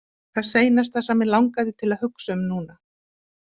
Það seinasta sem mig langaði til að hugsa um núna.